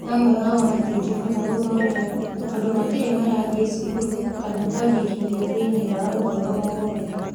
Amwe ao matingĩhota gũthomera, tondũ matirĩ marathiĩ cukuru kana kũandĩkithio thĩinĩ wa ũhoro o wothe.